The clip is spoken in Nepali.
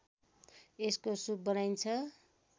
यसको सुप बनाइन्छ